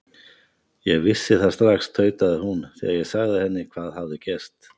Ég vissi það strax tautaði hún, þegar ég sagði henni hvað hafði gerst.